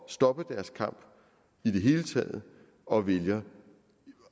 at stoppe deres kamp i det hele taget og vælger